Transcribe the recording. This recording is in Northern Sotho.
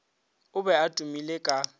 o be a tumile ka